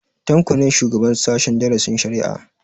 Tanko ne shugaban sahen darasin shari'a